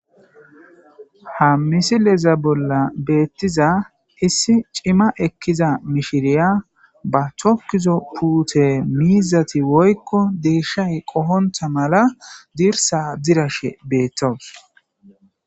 Ha misileza bolla beettiza issi cima ekkiza mishiriya ba tokkizo puute miizati woykko deeshshay qohontha mala dirsa dirashe beettos.